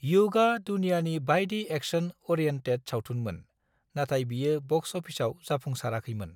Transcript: युगआ दुनियानि बाइदि एक्शन-अरिएन्टेट सावथुनमोन, नाथाय बियो बक्स अफिसाव जाफुंसाराखैमोन।